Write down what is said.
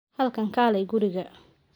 Halkan kaalay guriga.